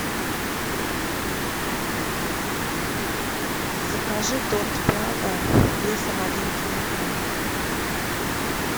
закажи торт прага весом один килограмм